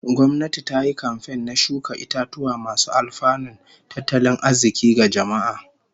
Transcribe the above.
Gwamnati ta yi kamfen na shuka itatuwa masu alfanun tattalin arzikin ga jama'a